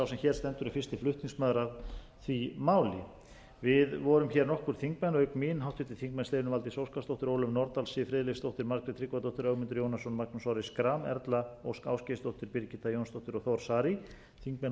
sem hér stendur er fyrsti flutningsmaður að því máli við vorum hér nokkur þingmenn auk mín háttvirtir þingmenn steinunn valdís óskarsdóttir ólöf nordal siv friðleifsdóttir margrét tryggvadóttir ögmundur jónasson magnús orri schram erla ósk ásgeirsdóttir birgitta jónsdóttir og þór saari þingmenn úr